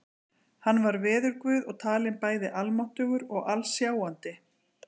Hann var veðurguð og talinn bæði almáttugur og alsjáandi.